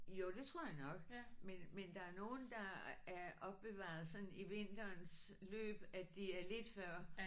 Jo det tror jeg nok men men der er nogle der er opbevaret sådan i vinterens løb at de er lidt før